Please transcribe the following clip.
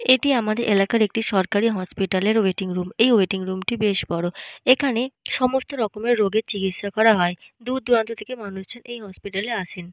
এটি আমাদের এলাকার একটি সরকারি হসপিটাল -এর ওয়েটিং রুম । এই ওয়েটিং রুম টি বেশ বড়। এখানে সমস্ত রকমের রোগের চিকিৎসা করা হয়। দূর দূরান্ত থেকে মানুষজন এই হসপিটাল এ আসেন।